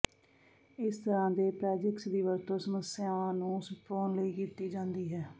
ਇਸ ਤਰ੍ਹਾਂ ਦੇ ਪ੍ਰੈਜਿਕਸ ਦੀ ਵਰਤੋਂ ਸਮੱਸਿਆ ਨੂੰ ਛੁਪਾਉਣ ਲਈ ਕੀਤੀ ਜਾਂਦੀ ਹੈ